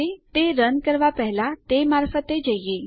ચાલો તે રન કરવા પહેલા તે મારફતે જઈએ